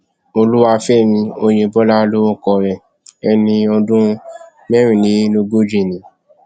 olúwàfẹmí ọyẹbọlá lorúkọ rẹ ẹni ọdún mẹrìnlélógójìí ni